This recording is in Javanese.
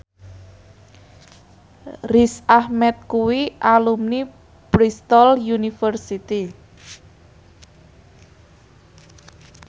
Riz Ahmed kuwi alumni Bristol university